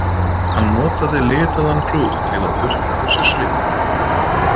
Hann notaði litaðan klút til að þurrka af sér svitann.